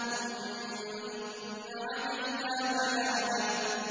ثُمَّ إِنَّ عَلَيْنَا بَيَانَهُ